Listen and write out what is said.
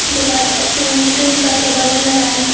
दीवार पर तीन तीन करके बैलून लगाया हुए है।